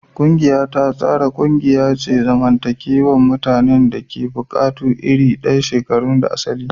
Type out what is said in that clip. Ƙungiya ta tsara ƙungiya ce ta zamantakewa ta mutanen da ke da buƙatu iri ɗaya, shekaru da asali.